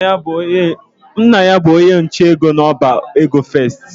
Nna ya bụ onye nche n'ọba ego First.